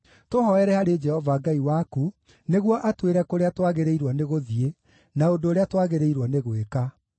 Tũhooere harĩ Jehova Ngai waku nĩguo atwĩre kũrĩa twagĩrĩirwo nĩgũthiĩ, na ũndũ ũrĩa twagĩrĩirwo nĩ gwĩka.”